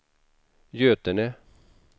Götene